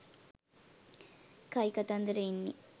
කයිකතන්දර එන්නේ